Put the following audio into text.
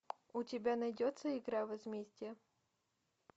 у тебя найдется игра возмездие